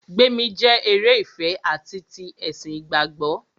Gbémi jẹ́ eré ìfẹ ati ti ẹ̀sìn ìgbàgbọ́.